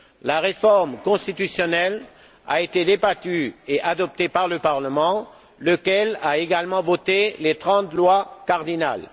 La réforme constitutionnelle a été débattue et adoptée par le parlement, lequel a également voté les trente lois cardinales.